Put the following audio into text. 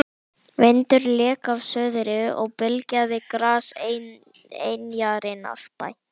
Hún horfir á Hallmund kennara í stofudyrunum.